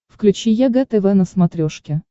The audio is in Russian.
включи егэ тв на смотрешке